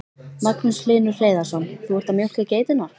Magnús Hlynur Hreiðarsson: Þú ert að mjólka geiturnar?